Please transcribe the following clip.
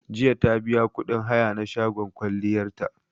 Jiya ta biya kuɗin haya na shagon kwalliyar ta